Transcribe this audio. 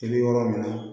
I bɛ yɔrɔ min na